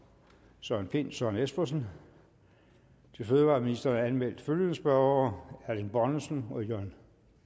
søren pind søren espersen til fødevareministeren er anmeldt følgende spørgere erling bonnesen jørn